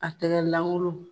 A tɛgɛlankolon.